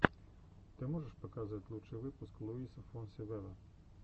ты можешь показать лучший выпуск луиса фонси вево